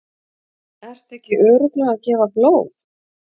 Ertu ekki örugglega að gefa blóð?